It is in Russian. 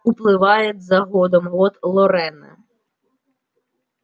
уплывает за годом год лорена